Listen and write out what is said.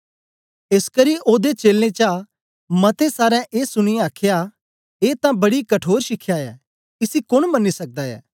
एसकरी ओदे चेलें चा मतें सारें ए सुनीयै आख्या ए तां बड़ी कठोर शिखया ऐ इसी कोन मन्नी सकदा ऐ